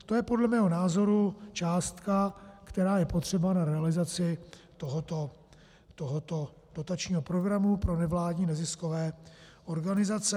To je podle mého názoru částka, která je potřeba na realizaci tohoto dotačního programu pro nevládní neziskové organizace.